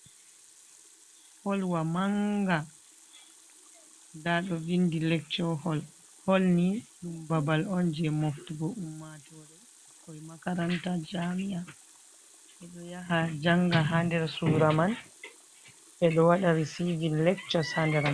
Hol wa manga. Nda ɗo vindi 'Lecture Hall'. Hol ni ɗum babal on je moftugo ummatoore. Ɓikkoi makaranta jami'a, ɓe ɗo yaha janga haa nder suura man. Ɓe ɗo waɗa 'resiving lectures', haa nder manga.